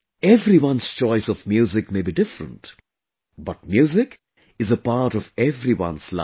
Everyone's choice of music may be different, but music is a part of everyone's life